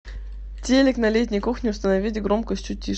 телик на летней кухне установить громкость чуть тише